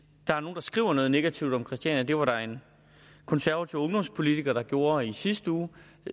der er nogen der skriver noget negativt om christiania det var der en konservativ ungdomspolitiker der gjorde i sidste uge